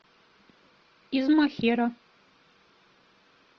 из махера